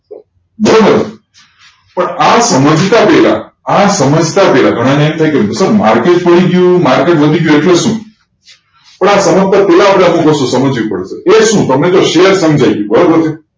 બરોબર આ સમજતા પહેલા આ સમજતા હોય ઘણાને એમ થાય કે market પડી ગયું market વધી ગયું એટલે શું આ સમજતા પહેલા આપણે આટલી વસ્તુ સમજવી પડે છે એ શું તમે શેર સમજાઈ ગયું બરોબર છે